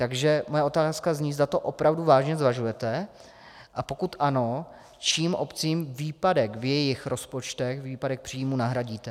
Takže moje otázka zní, zda to opravdu vážně zvažujete, a pokud ano, čím obcím výpadek v jejich rozpočtech, výpadek příjmů nahradíte.